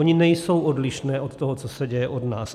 Ony nejsou odlišné od toho, co se děje u nás.